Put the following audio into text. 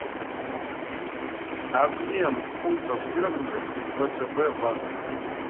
обмен фунтов стерлингов в втб банке